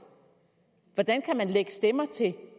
hvordan kan man lægge stemmer til